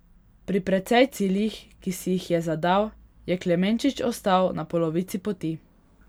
Pri precej ciljih, ki si jih je zadal, je Klemenčič ostal na polovici poti.